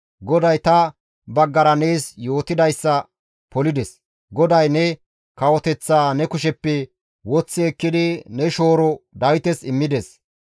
GODAY ta baggara nees yootidayssa polides; GODAY ne kawoteththaa ne kusheppe woththi ekkidi ne shooro Dawites immides.